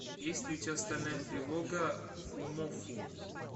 есть ли у тебя стальная тревога фумоффу